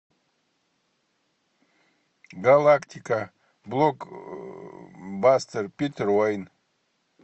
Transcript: галактика блокбастер питер уэйн